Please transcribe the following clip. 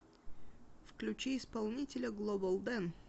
включи исполнителя глобал дэн